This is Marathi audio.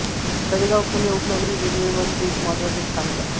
तळेगाव पुणे उपनगरी रेल्वेवरील एक महत्त्वाचे स्थानक आहे